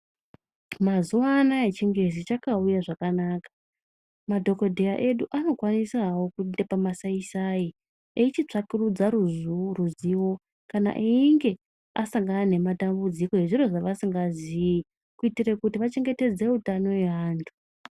Mazuwaanya chingezi chakauya zvakanaka madhokodheya edu anokwanisao kuenda pamasai sai eichitsvakurudzo ruzivo kana einge asangana nematambudziko ezviro zvaasingazii kuitira kuti achengetedze utano hwevanthu.